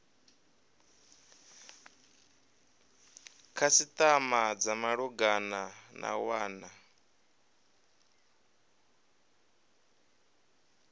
khasitama dza malugana na wana